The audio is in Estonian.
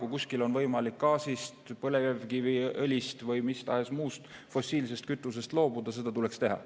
Kui kuskil on võimalik gaasist, põlevkiviõlist või mis tahes muust fossiilsest kütusest loobuda, siis seda tuleks teha.